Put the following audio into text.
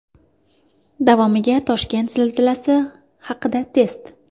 Davomiga Toshkent zilzilasi haqida test .